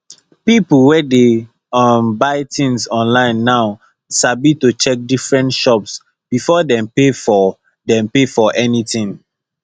people wey dey um buy things online now sabi to check different shops before dem pay for dem pay for anything